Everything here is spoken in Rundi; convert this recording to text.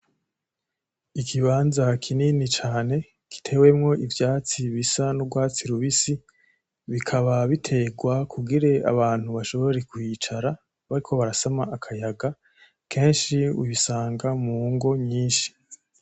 Ikibanza kinini cane gitewemwo ivyatsi bisa nurwatsi rubisi bikaba biterwa kugira abantu bashobore kwicara bariko barasama akayaga kenshi ubisanga mungo nyinshi .